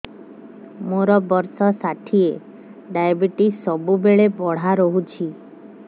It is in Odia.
ମୋର ବର୍ଷ ଷାଠିଏ ଡାଏବେଟିସ ସବୁବେଳ ବଢ଼ା ରହୁଛି